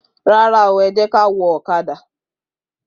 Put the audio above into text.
Rara o,ẹjekà wò òkàdà